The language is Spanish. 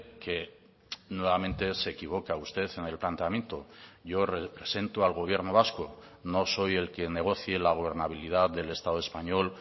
que nuevamente se equivoca usted en el planteamiento yo represento al gobierno vasco no soy el que negocie la gobernabilidad del estado español